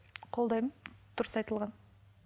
қолдаймын дұрыс айтылған